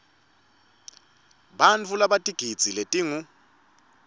bantfu labatigidzi letingu